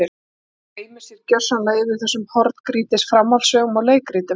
Fólk gleymir sér svo gersamlega yfir þessum horngrýtis framhaldssögum og leikritum.